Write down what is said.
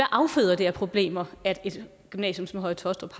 afføder det af problemer at et gymnasium som høje taastrup